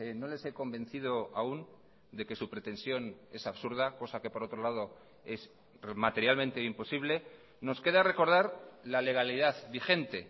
no les he convencido aún de que su pretensión es absurda cosa que por otro lado es materialmente imposible nos queda recordar la legalidad vigente